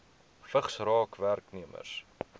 vigs raak werknemers